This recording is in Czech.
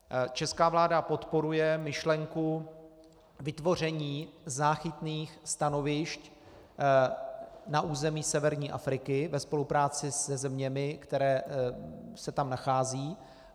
Česká vláda podporuje myšlenku vytvoření záchytných stanovišť na území severní Afriky ve spolupráci se zeměmi, které se tam nacházejí.